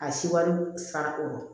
A siwari sara o